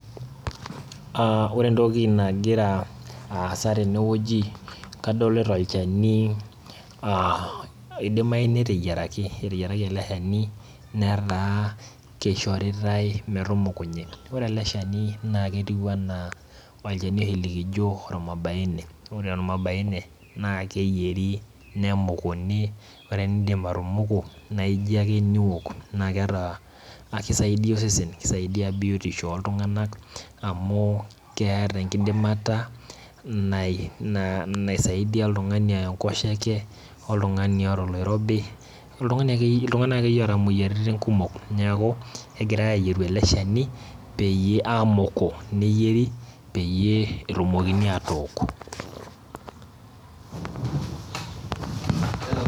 Aa ore entokinagira aasa tenewueji, kadolta olchani a oidimae neteyiaraki eteyiaraki eleshani na kishoritae metumukunye, ore eleshani na kertiu ana olchani oshi likijo ormabaine, ore ormabaine nakeyieri nemukuni, ore piindip atumuku naija ake niok, nakeeta kisaidia osesen, kisaidia biotisho oltunganak amu keeta enkidimata naisaidia oltungani oya enkosheke , oltungani oota oloirobi, oltungani akeyieu oota moyiaritin kumok, neaku kegirai ayieru eleshani peyieu amuku neyieri peyie etumokini atook.